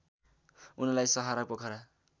उनलाई सहारा पोखरा